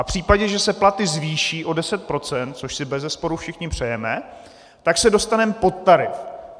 A v případě, že se platy zvýší o 10 %, což si bezesporu všichni přejeme, tak se dostaneme pod tarif.